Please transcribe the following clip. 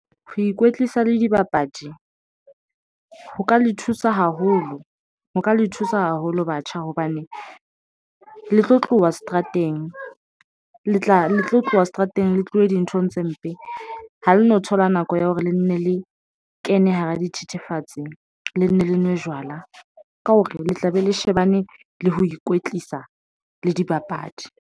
Ho ikwetlisa le dibapadi ho ka le thusa haholo ho ka le thusa haholo batjha hobane le tlo tloha seterateng, le tla le tlo tloha seterateng, le tluwe dinthong tse mpe. Ha le no thola nako ya hore le nne le kene hara dithethefatsi, le nne le nwe jwala ka hore le tla be le shebane le ho ikwetlisa le dibapadi.